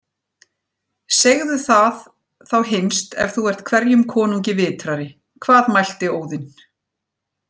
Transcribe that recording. Segðu það þá hinst ef þú ert hverjum konungi vitrari: Hvað mælti Óðinn